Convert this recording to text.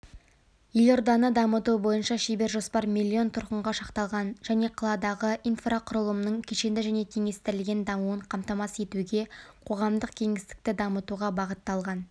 елорданы дамыту бойынша шебер-жоспар миллион тұрғынға шақталған және қаладағы инфрақұрылымның кешенді және теңестірілген дамуын қамтамасыз етуге қоғамдық кеңістікті дамытуға бағытталған